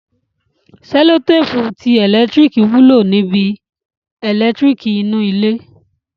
Sẹlotéèpù ti ẹ̀lẹ́tíríkì wúlò níbi? ẹ̀lẹ́tíríkì inú ilé